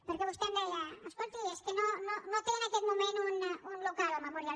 perquè vostè em deia escolti és que no té en aquest moment un local el memorial